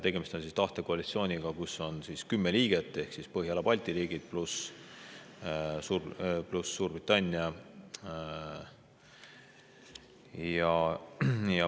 Tegemist on tahtekoalitsiooniga, kus on 10 liiget ehk Põhjala-Balti riigid, pluss Suurbritannia.